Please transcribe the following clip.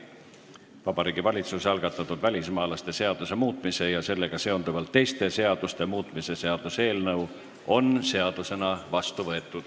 Vabariigi Valitsuse algatatud välismaalaste seaduse muutmise ja sellega seonduvalt teiste seaduste muutmise seaduse eelnõu on seadusena vastu võetud.